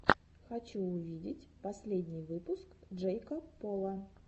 хочу увидеть последний выпуск джейка пола